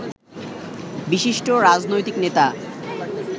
বিশিষ্ট রাজনৈতিক নেতা